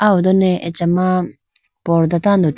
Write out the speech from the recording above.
aw done achama pordah tando thru.